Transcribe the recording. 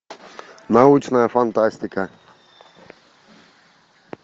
научная фантастика